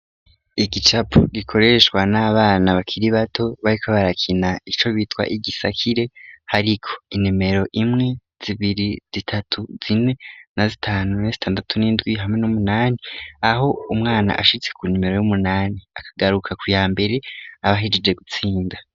Igicapu gikoreshwa n'abana bakiri bato bariko barakina ico bitwa igisakire hariko inimero imwe zibiri zitatu zine na zitanu na zitandatu n'indwi hamwe n'umunani .Aho umwana ashitse ku nimero y'umunani akagaruka ku ya mbere aba ahejeje gutsinda.